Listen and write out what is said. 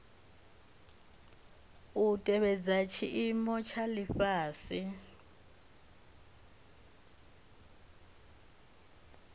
dza tevhedza tshiimo tsha lifhasi